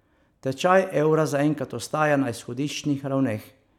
Tečaj evra zaenkrat ostaja na izhodiščnih ravneh.